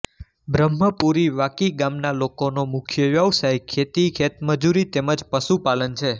બ્રહ્મપુરી વાકી ગામના લોકોનો મુખ્ય વ્યવસાય ખેતી ખેતમજૂરી તેમ જ પશુપાલન છે